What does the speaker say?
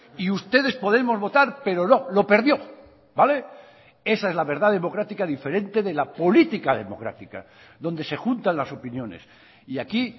y ustedes podemos votar pero no lo perdió vale esa es la verdad democrática diferente de la política democrática donde se juntan las opiniones y aquí